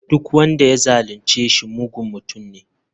Duk wanda ya zalunce shi mugun mutum ne.